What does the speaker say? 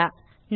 நன்றி